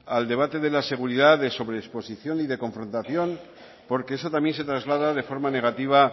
al debate de la seguridad sobre exposición y de confrontación porque eso también se traslada de forma negativa